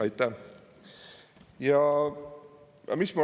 Aitäh!